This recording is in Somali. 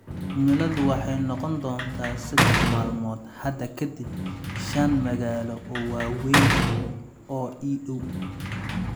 Cimiladu waxay noqon doontaa saddex maalmood hadda ka dib shan magaalo oo waaweyn oo ii dhow.